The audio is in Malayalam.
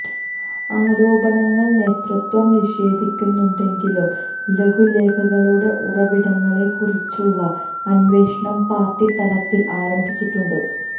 ആരോപണങ്ങള് നേതൃത്വം നിഷേധിക്കുന്നുണ്ടെങ്കിലും ലഘുലേഖകളുടെ ഉറവിടങ്ങളെക്കുറിച്ചുള്ള അന്വേഷണം പാര്ട്ടി തലത്തില് ആരംഭിച്ചിട്ടുണ്ട്